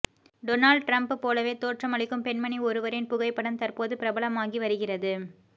Donald Trump போலவே தோற்றமளிக்கும் பெண்மணி ஒருவரின் புகைப்படம் தற்போது பிரபலமாகி வருகிறது